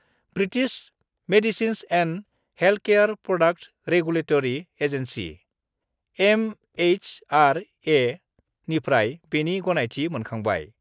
British medicines and healthcare products regulatory agency (एमएइसआरए)निफ्राय बेनि गनायथि मोनखांबाय।